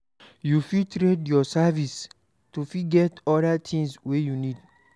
You fit trade your services to fit get oda things wey you need